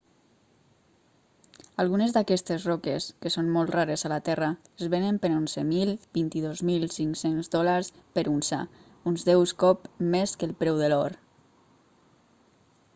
algunes d'aquestes roques que són molt rares a la terra es venen per 11.000-22.500 dòlars per unça uns deus cop més que el preu de l'or